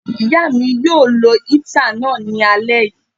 Ìyá mi yóò lo íítà náà ní alé yìí